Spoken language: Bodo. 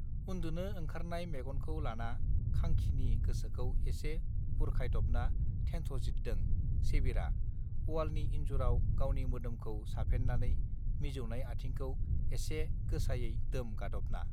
उन् दुनो ओंखारनाय मेगनखौ लाना खांखिनि गोसोखौ एसे बुरखायदबना थेन् थज्रिददों सेबिरआ अवालनि इन् जुराव गावनि मोदोमखौ साफेननानै मिजौनाय आथिंखौ एसे गोसायै दोम गादबना